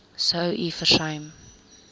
sou u versuim